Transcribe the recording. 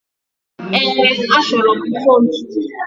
Ee, achọrọ m mfontu?